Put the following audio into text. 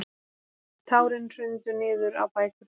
Tárin hrundu niður á bækurnar.